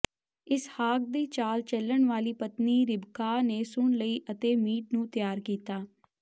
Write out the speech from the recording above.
ਇਸਹਾਕ ਦੀ ਚਾਲ ਚਲਣ ਵਾਲੀ ਪਤਨੀ ਰਿਬਕਾਹ ਨੇ ਸੁਣ ਲਈ ਅਤੇ ਮੀਟ ਨੂੰ ਤਿਆਰ ਕੀਤਾ